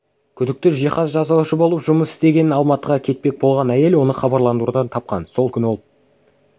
күдікті жиһаз жасаушы болып жұмыс істеген алматыға кетпек болған әйел оны хабарландырудан тапқан сол күні ол